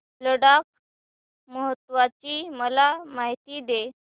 लडाख महोत्सवाची मला माहिती दे